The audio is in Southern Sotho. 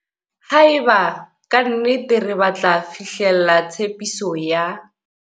Haeba ka nnete re batla fihlella tshepiso ya.